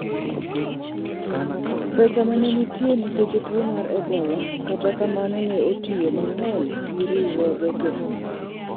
pesa mane nitie nikech tuo mar eboal, kata kamano ne otiyo mang'eny gi riwruoge go